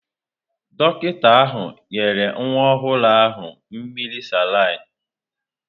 Dọkịta ahụ nyere nwa ọhụrụ ahụ mmiri salin.